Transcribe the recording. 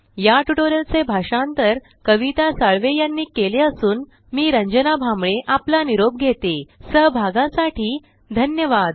या ट्यूटोरियल चे भाषांतर कविता साळवे यानी केले असून आवाज रंजना भांबळे यांचा आहेसहभागासाठी धन्यवाद